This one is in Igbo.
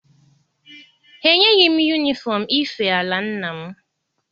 Ha enyeghị m yunifọm ife ala nna m.